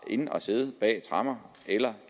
ind at sidde bag tremmer eller